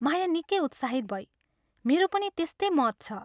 माया निकै उत्साहित भई " मेरो पनि त्यस्तै मत छ।